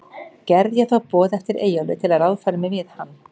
Gerði ég þá boð eftir Eyjólfi, til að ráðfæra mig við hann.